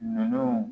Ninnu